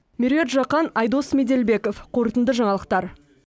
меруерт жақан айдос меделбеков қорытынды жаңалықтар